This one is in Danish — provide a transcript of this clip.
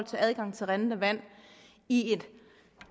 til adgang til rindende vand i